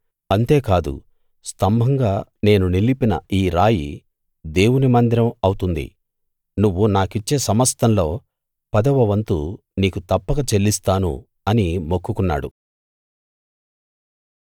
అంతేకాదు స్తంభంగా నేను నిలిపిన ఈ రాయి దేవుని మందిరం అవుతుంది నువ్వు నాకిచ్చే సమస్తంలో పదవ వంతు నీకు తప్పక చెల్లిస్తాను అని మొక్కుకున్నాడు